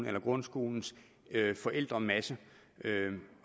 eller grundskolens forældremasse